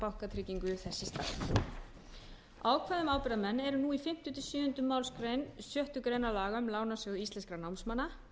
bankatryggingu í þess stað ákvæði um ábyrgðarmenn eru nú í fimmta til sjöunda málsgrein sjöttu grein laga um lánasjóð íslenskra námsmanna